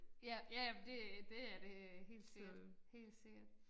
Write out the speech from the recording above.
Ja ja men det det er det helt sikkert helt sikkert